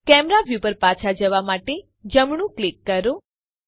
camera view પર પાછા જવા માટે જમણું ક્લિક કરો